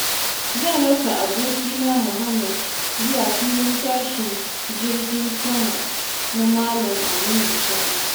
Zan raka abokina Muhammad zuwa Filin tashin jirgin sama na Malam Aminu Kano.